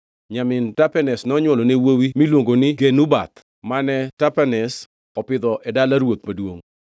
Nyamin Tapenes nonywolone wuowi miluongo ni Genubath mane Tapenes opidho e dala ruoth maduongʼ. Kanyo Genubath nodak gi nyithind Farao.